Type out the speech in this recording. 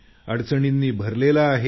अडचणींनी भरलेला आहे